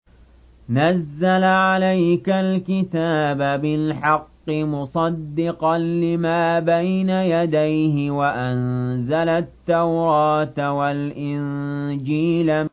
نَزَّلَ عَلَيْكَ الْكِتَابَ بِالْحَقِّ مُصَدِّقًا لِّمَا بَيْنَ يَدَيْهِ وَأَنزَلَ التَّوْرَاةَ وَالْإِنجِيلَ